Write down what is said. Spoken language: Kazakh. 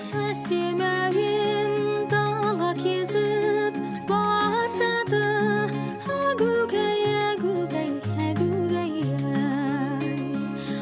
әсем әуен дала кезіп барады әгугай әгугай әгугай ай